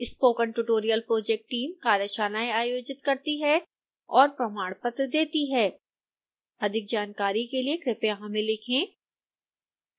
spoken tutorial project team कार्यशालाएं आयोजित करती है और प्रमाणपत्र देती है अधिक जानकारी के लिए कृपया हमें लिखें